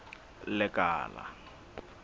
lekala